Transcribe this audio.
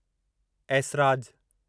Esraj